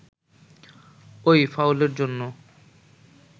ওই ফাউলের জন্য